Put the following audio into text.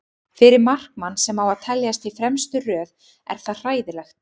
Fyrir markmann sem á að teljast í fremstu röð er það hræðilegt.